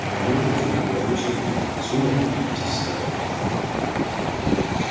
аналогия в чём-то была очень верной сумрак и есть старое кино